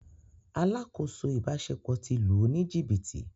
“ Alákòóso ìbáṣepọ̀ ” ti lù ú ní jìbìtì.